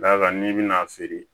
Da kan n'i bɛna a feere